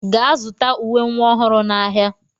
Gaa zụta uwe nwa ọhụrụ n'ahịa!